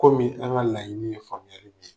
Komi an ka laɲini ye faamuyali ye.